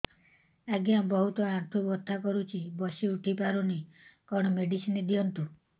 ଆଜ୍ଞା ବହୁତ ଆଣ୍ଠୁ ବଥା କରୁଛି ବସି ଉଠି ପାରୁନି କଣ ମେଡ଼ିସିନ ଦିଅନ୍ତୁ